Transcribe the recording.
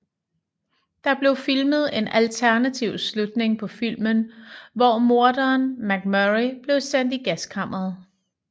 Der blev filmet en alternativ slutning på filmen hvor morderen MacMurray blev sendt i gaskammeret